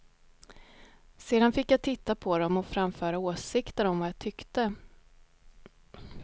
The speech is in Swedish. Sedan fick jag titta på dem och framföra åsikter om vad jag tyckte att han skulle göra annorlunda och vad han hade förstått.